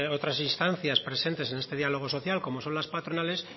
otras instancias presentes en este diálogo social como son las patronales